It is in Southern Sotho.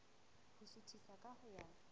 ho suthisa ka ho ya